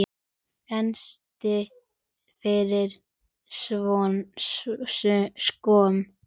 Fannstu fyrir skömm?